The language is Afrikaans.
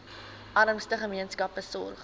armste gemeenskappe sorg